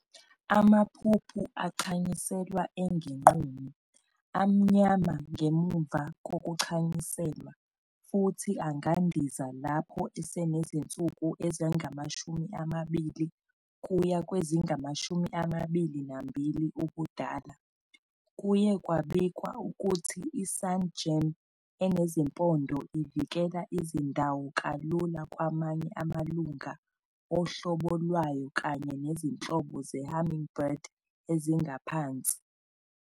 Amaphuphu achanyiselwa engenqunu, amnyama ngemuva kokuchanyuselwa, futhi angandiza lapho esenezinsuku ezingama-20 kuya kwezingu-22 ubudala. Kuye kwabikwa ukuthi i-sungem enezimpondo ivikela izindawo kalula kwamanye amalunga ohlobo lwayo kanye nezinhlobo ze-hummingbird ezingaphansi.